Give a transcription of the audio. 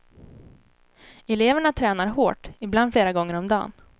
Eleverna tränar hårt, ibland flera gånger om dagen.